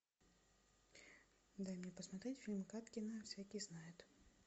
дай мне посмотреть фильм кадкина всякий знает